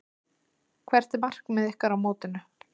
Hvert er markmið ykkar á mótinu?